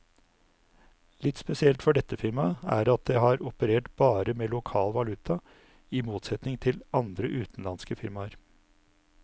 Litt spesielt for dette firmaet er at det har operert bare med lokal valuta, i motsetning til andre utenlandske firmaer.